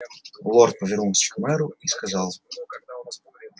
лорд повернулся к мэру и сказал